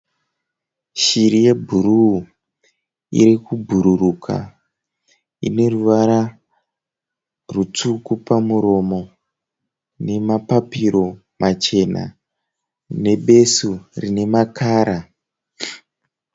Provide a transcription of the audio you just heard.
Shiri yebhuruwu irikubhururuka. Ineruvara rwutsvuku pamuromo. Nemapapiro machena, nebesu rinemakara.